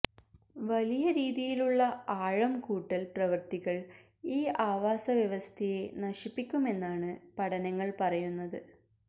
വലിയ രീതിയിലുള്ള ആഴം കൂട്ടല് പ്രവൃത്തികള് ഈ ആവാസവ്യവസ്ഥയെ നശിപ്പിക്കുമെന്നാണ് പഠനങ്ങള് പറയുന്നത്